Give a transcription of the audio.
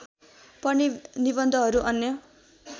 पर्ने निबन्धहरू अन्य